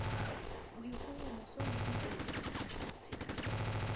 boikgohomoso le ditlontlollo re ka